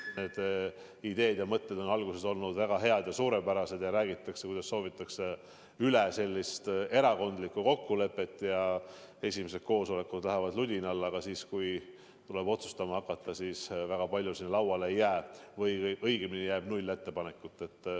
Ideed ja mõtted on olnud väga head ja suurepärased, räägitakse, et soovitakse sellist erakondadeülest kokkulepet, ja esimesed koosolekud lähevad ludinal, aga kui tuleb otsustama hakata, siis väga palju ettepanekuid lauale ei jää või õigemini jääb null ettepanekut.